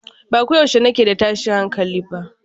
Ba ko yaushe nake da tashin hankali ba